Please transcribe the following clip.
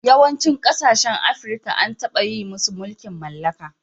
Yawancin kasashen Afirka an taba yi musu mulkin mallaka.